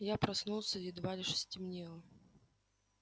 я проснулся едва лишь стемнело